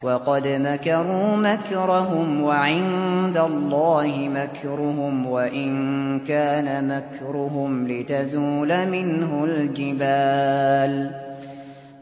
وَقَدْ مَكَرُوا مَكْرَهُمْ وَعِندَ اللَّهِ مَكْرُهُمْ وَإِن كَانَ مَكْرُهُمْ لِتَزُولَ مِنْهُ الْجِبَالُ